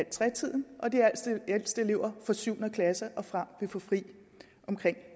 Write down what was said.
tredive tiden og de ældste elever fra syvende klasse og frem vil få fri